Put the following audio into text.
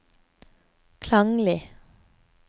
klanglig